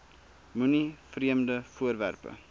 moenie vreemde voorwerpe